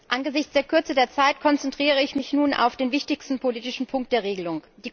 Angesichts der Kürze der Zeit konzentriere ich mich nun auf den wichtigsten politischen Punkt der Regelung.